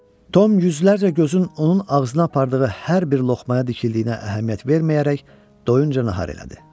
Tom yüzlərlə gözün onun ağzına apardığı hər bir loxmaya dikildiyinə əhəmiyyət verməyərək doyunca nahar elədi.